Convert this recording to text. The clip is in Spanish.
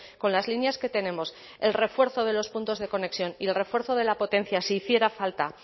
con las líneas que tenemos el refuerzo de los puntos de conexión y el refuerzo de la potencia si hiciera falta